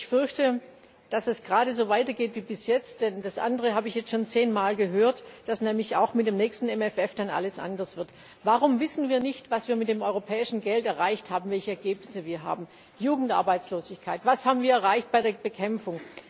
Aber ich fürchte, dass es gerade so weitergeht wie bisher, denn das andere habe ich jetzt schon zehnmal gehört, dass nämlich auch mit dem nächsten MFR dann alles anders wird. Warum wissen wir nicht, was wir mit dem europäischen Geld erreicht haben, welche Ergebnisse wir haben? Jugendarbeitslosigkeit Was haben wir erreicht bei der Bekämpfung?